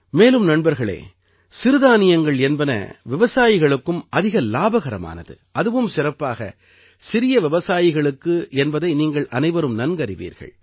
மேலும் நண்பர்களே சிறுதானியங்கள் என்பன விவசாயிகளுக்கும் அதிக இலாபகரமானது அதுவும் சிறப்பாக சிறிய விவசாயிகளுக்கு என்பதை நீங்கள் அனைவரும் நன்கறிவீர்கள்